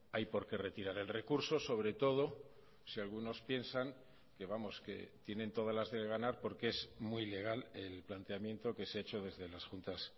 hay por qué retirar el recurso sobre todo si algunos piensan que vamos que tienen todas las de ganar porque es muy legal el planteamiento que se ha hecho desde las juntas